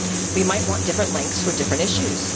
We might want different lengths for different issues.